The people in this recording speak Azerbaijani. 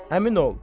Həmin ol.